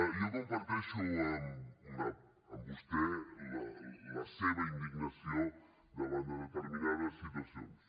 jo comparteixo amb vostè la seva indignació davant de determinades situacions